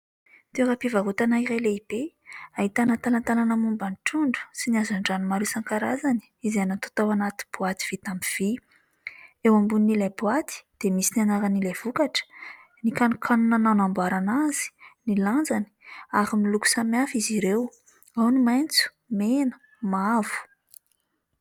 Toeram-pivarotana iray lehibe, ahitana talatalana momba ny trondro sy ny hazandrano maro isan-karazany izay natao tao anaty boaty vita amin'ny vy. Eo ambonin'ilay boaty dia misy ny anaran'ilay vokatra, ny kanonkanona nanamboarana azy, ny lanjany ary miloko samy hafa izy ireo : ao ny maitso, mena, mavo.